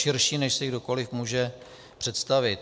Širší, než si kdokoliv může představit.